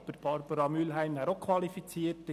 Aber auch Barbara Mühlheim wäre qualifiziert.